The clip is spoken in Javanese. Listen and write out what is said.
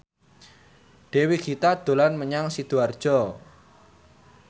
Dewi Gita dolan menyang Sidoarjo